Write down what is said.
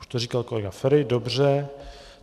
Už to říkal kolega Feri, dobře.